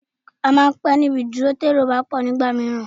À máà ń pé ní ibi ìdúró tí èrò bá pọ̀jù nígbà mìíràn